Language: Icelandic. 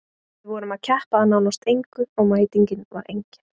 Við vorum að keppa að nánast engu og mætingin var engin.